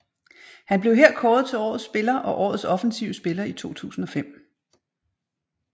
Han blev her kåret til Årets Spiller og Årets Offensive Spiller i 2005